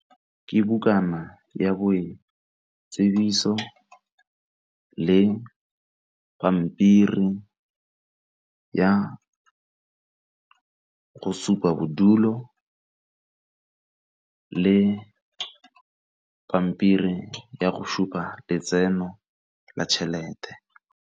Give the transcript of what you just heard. Ke bukana ya boitsibiso le pampiri ya go supa bodulo le pampiri ya go supa letseno la tšhelete.